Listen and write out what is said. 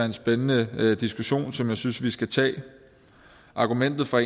en spændende diskussion som jeg synes vi skal tage argumentet fra